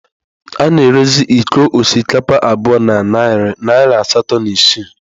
A na-erezi iko osikapa abụọ na narị naira asatọ na isii